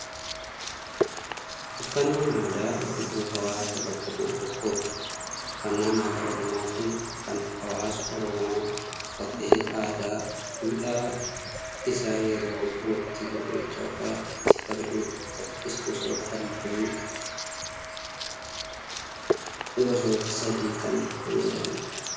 Uffannaan aadaa, ibsituu hawaasa bakka bu'e tokkooti. Uffannaan aadaa Oromoo kun, kan hawaasti Oromoo uffatee aadaa, duudhaa isaa yeroo waktii irreechaa fa'aa ittiin kabajudha. Uffatichis gosoota halluu gosoota sadiin kan faayamedha.